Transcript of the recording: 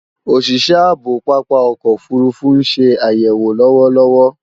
Òsìsẹ́ ààbò pápá ọkọ̀ òfurufú ń se àyèwò lọ́wọ́lọ́wọ́